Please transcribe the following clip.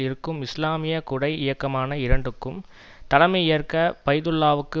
இருக்கும் இஸ்லாமிய குடை இயக்கமான இரண்டுக்கும் தலைமை ஏற்க பைதுல்லாவுக்கு